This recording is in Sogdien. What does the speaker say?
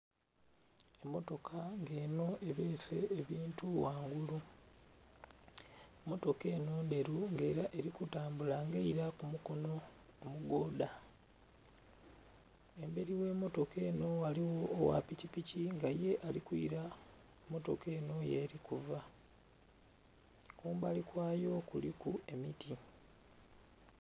Emmotoka nga enho ebeese ebintu ghangulu, emmotoka enho ndheru nga ela eli kutambula nga eila ku mukono omugoodha, embeli gh'emmotoka enho ghaligho ogha pikipiki nga ye ali kwila mmotoka enho yeli kuva. Kumbali kwayo kuliku emiti.